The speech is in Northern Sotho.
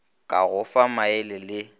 ka go fa maele le